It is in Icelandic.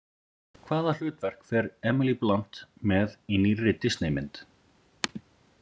Hvaða hlutverk fer Emily Blunt með í nýrri Disney mynd?